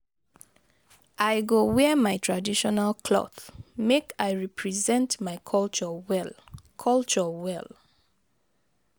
I go wear my traditional cloth, make I represent my culture well. culture well.